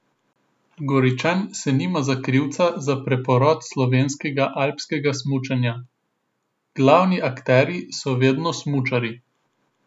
Goričan se nima za krivca za preporod slovenskega alpskega smučanja: "Glavni akterji so vedno smučarji.